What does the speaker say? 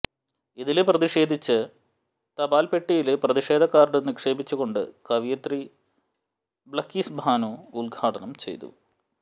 ഇതില് പ്രതിഷേധിച്ച് തപാല്പെട്ടിയില് പ്രതിഷേധ കാര്ഡ് നിക്ഷേപിച്ചുകൊണ്ട് കവിയിത്രി ബള്ക്കീസ് ബാനു ഉദ്ഘാടനം ചെയ്തു